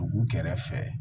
Dugu kɛrɛfɛ